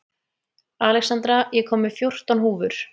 Alexandra, ég kom með fjórtán húfur!